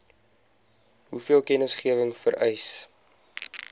hoeveel kennisgewing vereis